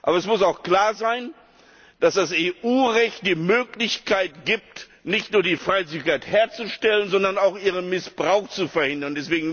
Aber es muss auch klar sein, dass das EU Recht die Möglichkeit gibt, nicht nur die Freizügigkeit herzustellen, sondern auch ihren Missbrauch zu verhindern.